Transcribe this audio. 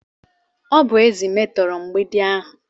Ọ bụ ezi ahụ metora mgbidi ahu.